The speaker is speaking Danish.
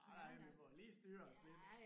Ej vi må jo lige styre os lidt